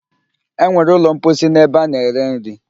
E nwere ụlọ mposi n'ebe ana-ere nri